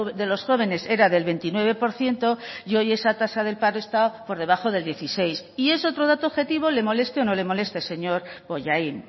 de los jóvenes era del veintinueve por ciento y hoy esa tasa del paro está por debajo del dieciséis y es otro dato objetivo le moleste o no le moleste señor bollain